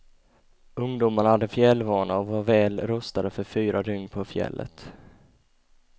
Ungdomarna hade fjällvana och var väl rustade för fyra dygn på fjället.